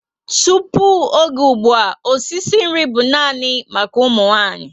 Tupu ógè ùgbúà, e si nri bú nani maka ụmụ nwanyị